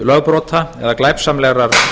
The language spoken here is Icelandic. lögbrota eða glæpsamlegrar